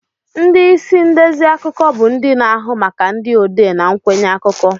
Ndị isi ndezi akụkọ bụ ndị na-ahụ maka ndị odee na nkwenye akụkọ.